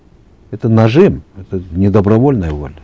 это нажим это не добровольная воля